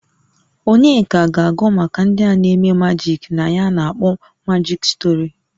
Onyeka ga-agụ maka ndị a na-eme majik na ya a na-akpọ majịk stori.